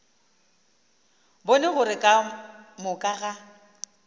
bone gore ka moka ga